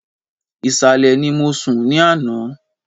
Ìsàlẹ̀ ni mo sùn ní àná